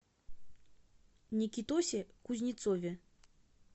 никитосе кузнецове